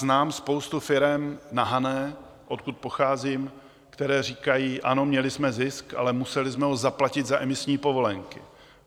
Znám spoustu firem na Hané, odkud pocházím, které říkají: Ano, měli jsme zisk, ale museli jsme ho zaplatit za emisní povolenky.